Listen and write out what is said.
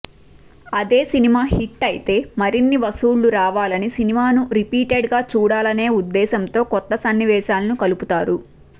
అదే cinema hit అయితే మరిన్ని వసూళ్లు రావాలని సినిమాని రిపీటెడ్ గా చూడాలనే ఉదేశ్యంతో కొత్త సన్నివేశాలు కలుపుతారు